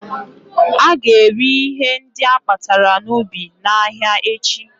Ága ere ihe ndị akpatara n'ubi n'ahịa echi